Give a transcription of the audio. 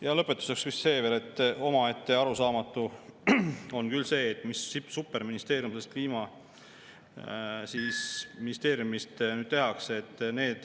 Ja lõpetuseks veel see, et omaette arusaamatu on ka see, mis superministeerium sest Kliimaministeeriumist tehakse.